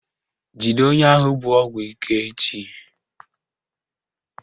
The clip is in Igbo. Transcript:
Jide onye ahụ bu ọgwụ ike echi!